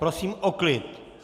Prosím o klid.